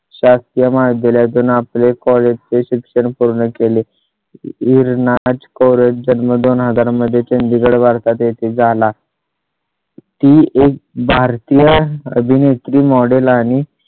शासकीय महाविद्यालया तून आपले college चे शिक्षण पूर्ण केले. इर नाच करत जन्मदोन हजार मध्ये चंदिगड भारतात येथे झाला . ती एक भारतीय अभिनेत्री, model आणि